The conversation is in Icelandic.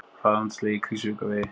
Hraðamet slegið á Krýsuvíkurvegi